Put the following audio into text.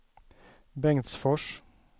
Bengtsfors